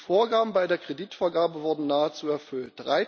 Die Vorgaben bei der Kreditvergabe wurden nahezu erfüllt.